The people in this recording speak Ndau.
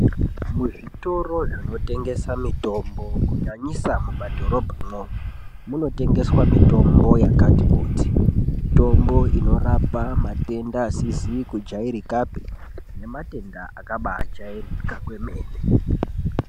Muzvitoro zvinotengesa mitombo kunyanyisa mumadhorobha mwoumo, munotengeswa mitombo yakati kuti, mitombo inorapa matenda asizi kujairikapi nematenda akabaajairika kwemene.